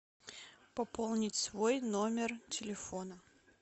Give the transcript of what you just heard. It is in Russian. пополнить свой номер телефона